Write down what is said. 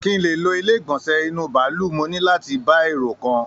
Kí n lè lò ilé igbọnsẹ inú bàálù, mo ní láti bá èrò kàn